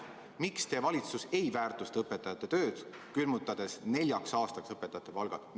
Miks teie valitsus ei väärtusta õpetajate tööd, külmutades neljaks aastaks õpetajate palgad?